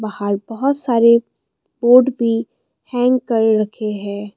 बाहर बहोत सारे बोड भी हैंग कर रखे हैं।